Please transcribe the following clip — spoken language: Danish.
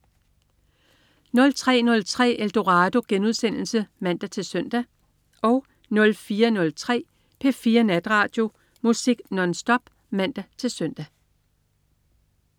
03.03 Eldorado* (man-søn) 04.03 P4 Natradio. Musik nonstop (man-søn)